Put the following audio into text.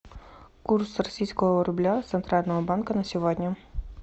курс российского рубля центрального банка на сегодня